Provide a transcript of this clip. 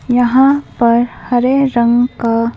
यहाँ पर हरे रंग का--